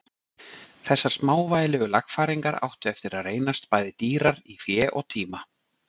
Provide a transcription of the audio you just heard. Þessar smávægilegu lagfæringar áttu eftir að reynast bæði dýrar í fé og tíma.